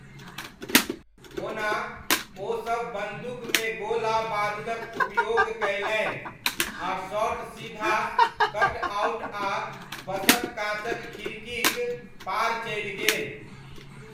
ओना,, ओसब बन्दूकमे गोला बारूदक उपयोग कयलनि, आ शॉट सीधा कटआउट आ बसक काँचक खिड़कीक पार चलि गेल।